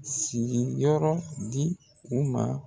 Sigiyɔrɔ di u ma